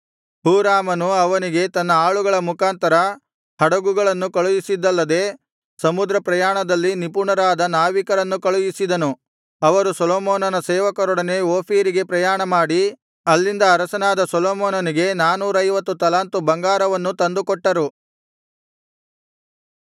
ಹೂರಾಮನು ಅವನಿಗೆ ತನ್ನ ಆಳುಗಳ ಮುಖಾಂತರ ಹಡುಗುಗಳನ್ನು ಕಳುಹಿಸಿದ್ದಲ್ಲದೆ ಸಮುದ್ರ ಪ್ರಯಾಣದಲ್ಲಿ ನಿಪುಣರಾದ ನಾವಿಕರನ್ನು ಕಳುಹಿಸಿದನು ಅವರು ಸೊಲೊಮೋನನ ಸೇವಕರೊಡನೆ ಓಫೀರಿಗೆ ಪ್ರಯಾಣಮಾಡಿ ಅಲ್ಲಿಂದ ಅರಸನಾದ ಸೊಲೊಮೋನನಿಗೆ ನಾನೂರೈವತ್ತು ತಲಾಂತು ಬಂಗಾರವನ್ನು ತಂದುಕೊಟ್ಟರು